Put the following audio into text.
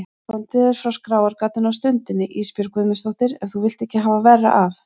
Komdu þér frá skráargatinu á stundinni Ísbjörg Guðmundsdóttir ef þú vilt ekki hafa verra af.